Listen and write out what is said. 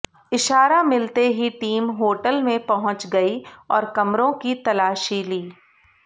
इशारा मिलते ही टीम होटल में पहुंच गई और कमरों की तलाशी ली